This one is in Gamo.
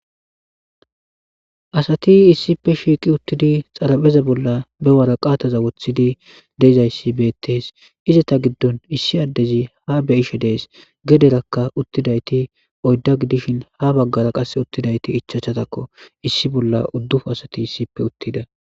Asati issippe shiqi uttidi xarapheza bolla waraqata wothidi de'izaysi betes. Izzeta gidon issi adezi ha beyishe des. Gederaka uttidayti oyda gidishin ha bagara qase uttidayti ichachchazakko issi bolla udupun asati issippe uttida.